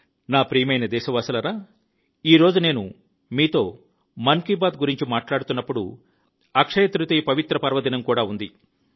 నా ప్రియమైన దేశవాసులారా ఈ రోజు నేను మీతో మన్ కీ బాత్ గురించి మాట్లాడుతున్నప్పుడు అక్షయతృతీయ పవిత్ర పర్వదినం కూడా ఉంది